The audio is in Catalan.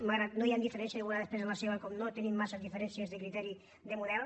malgrat que no hi han diferències i ho veurà després amb la seva com no tenim massa diferències de criteri de model